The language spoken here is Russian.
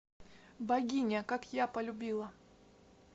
богиня как я полюбила